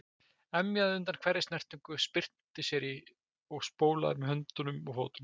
Emjaði undan hverri snertingu, spyrnti sér í og spólaði með höndum og fótum.